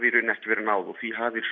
í rauninni ekki verið náð og því hafi